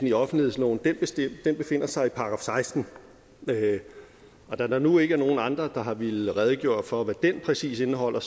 i offentlighedsloven befinder sig i § seksten og da der nu ikke er nogen andre der har villet redegøre for hvad den præcis indeholder